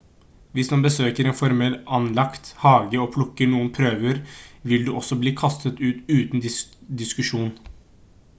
hvis man besøker en formelt anlagt hage og plukker noen «prøver» vil du også bli kastet ut uten diskusjon